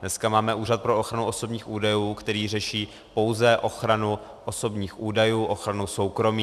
Dneska máme Úřad pro ochranu osobních údajů, který řeší pouze ochranu osobních údajů, ochranu soukromí.